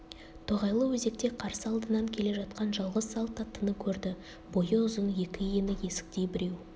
тоғайлы өзекте қарсы алдынан келе жатқан жалғыз салт аттыны көрді бойы ұзын екі иіні есіктей біреу